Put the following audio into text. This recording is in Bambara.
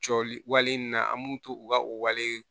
Jɔli wale in na an b'u to u ka o wale